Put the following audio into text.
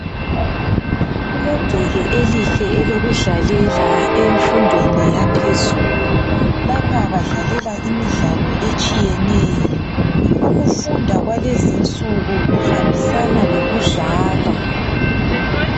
Kulegceke elihle elokudlalela emfundweni yaphezulu , lapha badlalela imidlalo etshiyeneyo , ukufunda kwalezinsuku , kuhambisana lokudlala